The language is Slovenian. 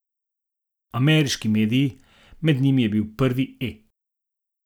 Ameriški mediji, med njimi je bil prvi E!